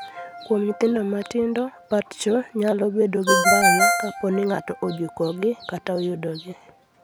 Kuom nyithindo matindo, patchgo nyalo bedo gi mbala kapo ni ng'ato ojukogi kata oyudogi.